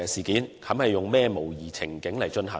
以甚麼模擬情景進行？